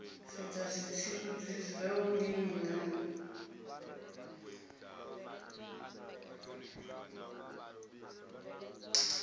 sedza zwitsivhudzi zwa vhulimi na